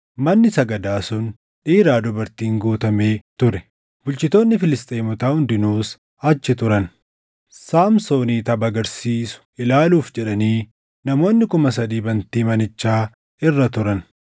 Manni sagadaa sun dhiiraa dubartiin guutamee ture; bulchitoonni Filisxeemotaa hundinuus achi turan; Saamsoonii tapha argisiisu ilaaluuf jedhanii namoonni kuma sadii bantii manichaa irra turan.